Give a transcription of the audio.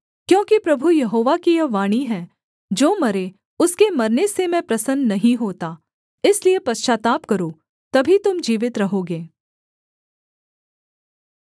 क्योंकि प्रभु यहोवा की यह वाणी है जो मरे उसके मरने से मैं प्रसन्न नहीं होता इसलिए पश्चाताप करो तभी तुम जीवित रहोगे